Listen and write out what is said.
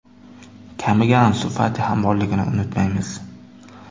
Kamiga Ansu Fati ham borligini unutmaymiz.